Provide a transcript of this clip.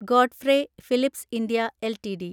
Godfrey Phillips India LTD